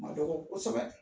Ma dɔgɔ kosɛbɛ